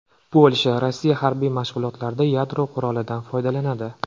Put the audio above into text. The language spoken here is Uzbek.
Polsha: Rossiya harbiy mashg‘ulotlarda yadro qurolidan foydalanadi.